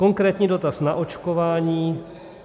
Konkrétní dotaz na očkování.